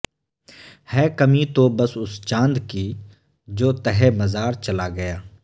ہے کمی تو بس اس چاند کی جو تہہ مزار چلا گیا